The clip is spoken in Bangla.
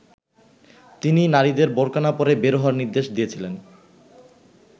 তিনি নারীদের বোরকা না পরে বের হওয়ার নির্দেশ দিয়েছিলেন।